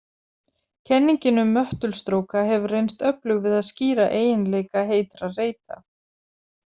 Kenningin um möttulstróka hefur reynst öflug við að skýra eiginleika heitra reita.